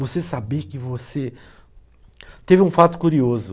Você saber que você... Teve um fato curioso.